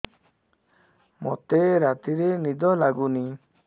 ମୋତେ ରାତିରେ ନିଦ ଲାଗୁନି